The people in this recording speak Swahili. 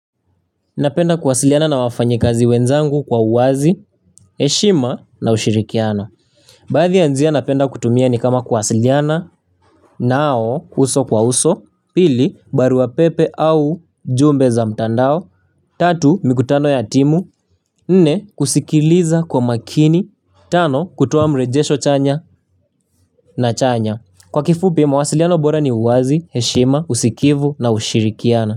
Napenda kuwasiliana na wafanya kazi wenzangu kwa uwazi, heshima na ushirikiano. Baadhi ya njia napenda kutumia ni kama kuwasiliana nao kuso kwa uso, pili baru pepe au jumbe za mtandao, tatu mikutano ya timu, nne kusikiliza kwa makini, tano kutoa mrejesho chanya na chanya. Kwa kifupi mawasiliano bora ni uwazi, heshima, usikivu na ushirikiano.